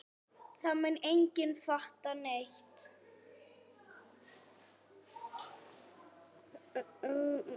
Það mun enginn fatta neitt.